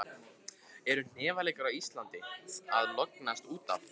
Eru hnefaleikar á Íslandi að lognast út af?